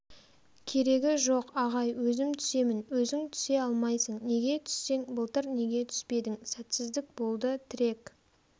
керегі жоқ ағай өзім түсемін өзің түсе алмайсың неге түссең былтыр неге түспедің сәтсіздік болды тірек